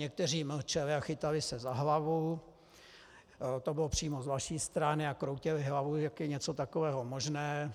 Někteří mlčeli a chytali se za hlavu, to bylo přímo z vaší strany, a kroutili hlavou, jak je něco takového možné,